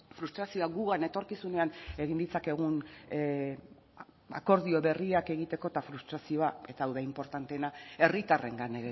frustrazioa gugan etorkizunean egin ditzakegun akordio berriak egiteko eta frustrazioa eta hau da inportanteena herritarrengan